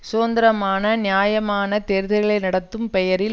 சுதந்திரமான நியாயமான தேர்தல்களை நடத்தும் பெயரில்